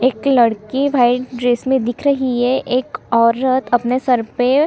एक लड़की white dress में दिख रही है एक औरत अपने सर पे --